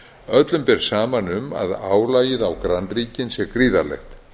öllum ber saman um að álagið á grannríkin sé gríðarlegt